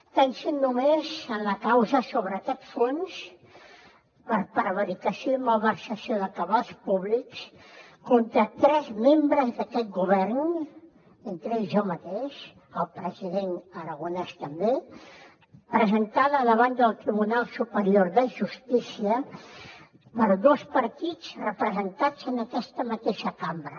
pensin només en la causa sobre aquest fons per prevaricació i malversació de cabals públics contra tres membres d’aquest govern entre ells jo mateix el president aragonès també presentada davant del tribunal superior de justícia per dos partits representats en aquesta mateixa cambra